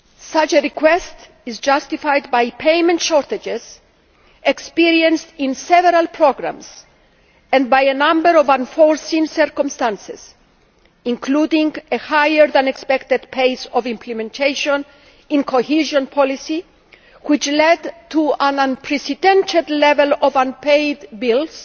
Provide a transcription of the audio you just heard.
Such a request is justified by the payment shortages experienced in several programmes and by a number of unforeseen circumstances, including a higher than expected pace of implementation in cohesion policy, which led to an unprecedented level of unpaid bills